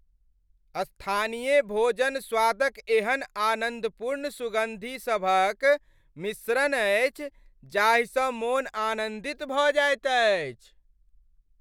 स्थानीय भोजन स्वादक एहन आनन्दपूर्ण सुगन्धि सभक मिश्रण अछि जाहिसँ मोन आनन्दित भऽ जाइत अछि।